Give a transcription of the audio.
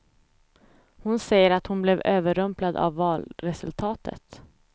Hon säger att hon blev överrumplad av valresultatet.